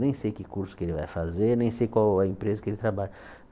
Nem sei que curso que ele vai fazer, nem sei qual a empresa que ele trabalha.